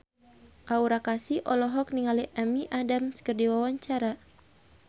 Aura Kasih olohok ningali Amy Adams keur diwawancara